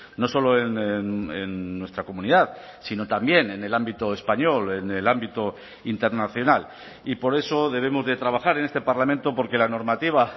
no solo en nuestra comunidad sino también en el ámbito español en el ámbito internacional y por eso debemos de trabajar en este parlamento por que la normativa